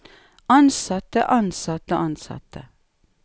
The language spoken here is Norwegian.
ansatte ansatte ansatte